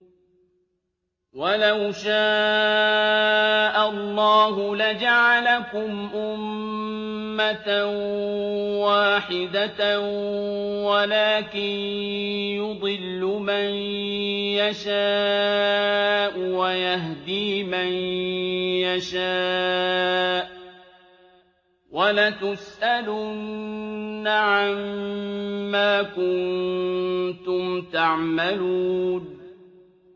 وَلَوْ شَاءَ اللَّهُ لَجَعَلَكُمْ أُمَّةً وَاحِدَةً وَلَٰكِن يُضِلُّ مَن يَشَاءُ وَيَهْدِي مَن يَشَاءُ ۚ وَلَتُسْأَلُنَّ عَمَّا كُنتُمْ تَعْمَلُونَ